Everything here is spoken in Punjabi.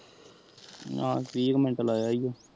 ਨਾਲ ਵੀ ਮਿਨਤ ਲਯੋ